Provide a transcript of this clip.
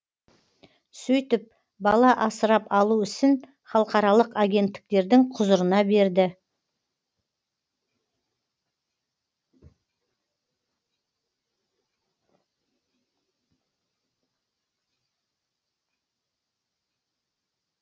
сөйтіп бала асырап алу ісін халықаралық агенттіктердің құзырына берді